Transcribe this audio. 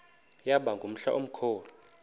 yaba ngumhla omkhulu